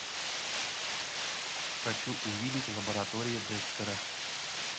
хочу увидеть лаборатория декстера